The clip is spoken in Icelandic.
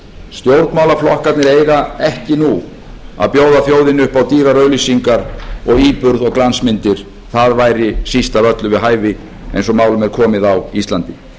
stjórnmálaflokkarnir eiga ekki nú að bjóða þjóðinni upp á dýrar auglýsingar og íburð og glansmyndir það væri síst af öllu við hæfi eins og málum er komið á íslandi